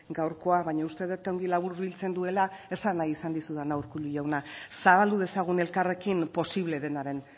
gaurkoa baina uste dut ongi laburbiltzen duela esan nahi izan dizudana urkullu jauna zabaldu dezagun elkarrekin posible denaren